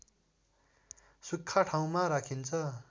सुख्खा ठाउँमा राखिन्छ